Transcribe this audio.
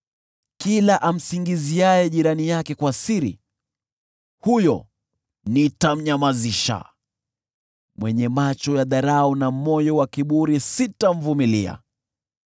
Kila amsingiziaye jirani yake kwa siri, huyo nitamnyamazisha; mwenye macho ya dharau na moyo wa kiburi huyo sitamvumilia.